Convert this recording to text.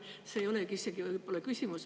See ei olegi võib-olla küsimus.